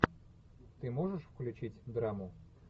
ты можешь включить драму